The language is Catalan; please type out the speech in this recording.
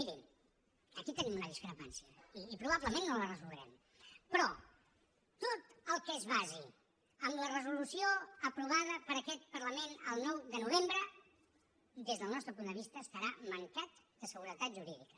miri aquí tenim una discrepància i probablement no la resoldrem però tot el que es basi en la resolució aprovada per aquest parlament el nou de novembre des del nostre punt de vista estarà mancat de seguretat jurídica